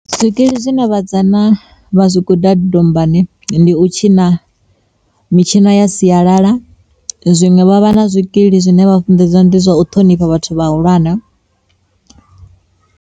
Zwikili zwine vhasidzana vha zwi guda dombani ndi u tshina mitshino ya sialala, zwiṅwe vha vha na zwikili zwine vha funḓedza ndi zwa u ṱhonifha vhathu vhahulwane.